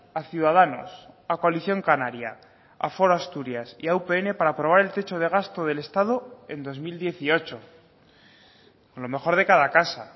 a ciudadanos a coalición canaria a foro asturias y a upn para aprobar el techo de gasto del estado en dos mil dieciocho lo mejor de cada casa